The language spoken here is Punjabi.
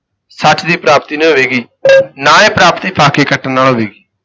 ਸੱਚ ਦੀ ਪ੍ਰਾਪਤੀ ਨਹੀਂ ਹੋਵੇਗੀ ਨਾ ਇਹ ਪ੍ਰਾਪਤੀ ਫਾਕੇ ਕੱਟਣ ਨਾਲ ਹੋਵੇਗੀ।